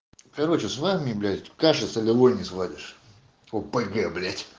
короче с вами блять каши солевой не сваришь опг блять